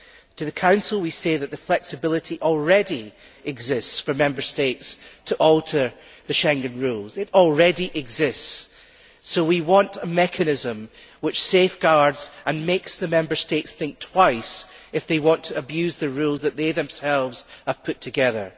To the Council, we say that the flexibility already exists for Member States to alter the Schengen rules. It already exists, so we want a mechanism which provides safeguards and makes the Member States think twice if they want to abuse the rules that they themselves have put together.